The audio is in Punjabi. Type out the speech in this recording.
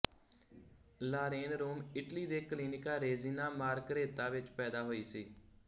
ਲਾਰੇਨ ਰੋਮ ਇਟਲੀ ਦੇ ਕਲੀਨਿਕਾ ਰੇਜੀਨਾ ਮਾਰਘਰੇਤਾ ਵਿੱਚ ਪੈਦਾ ਹੋਈ ਸੀ